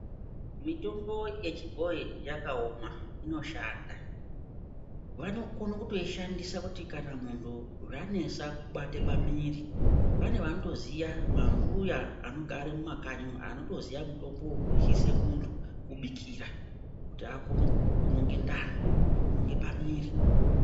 Mitombo yechibhoyi yakaoma, inoshanda. Vanokono kutoishandisa kuti kana munhu zvanesa kubate pamiiri, pane vanotoziya mambuya anogare mumakanyi umu, anotoziya mutombo wekuryise muntu-kubikira kuti akone kunonge ndani, kunonge pamuiri.